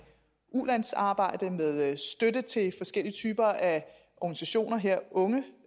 ulandsarbejde med støtte til forskellige typer af organisationer her unge